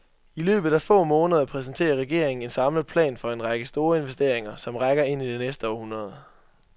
I løbet af få måneder præsenterer regeringen en samlet plan for en række store investeringer, som rækker ind i det næste århundrede.